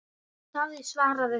Davíð svaraði þá